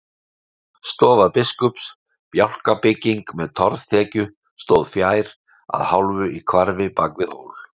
Stofa biskups, bjálkabygging með torfþekju stóð fjær, að hálfu í hvarfi bak við hól.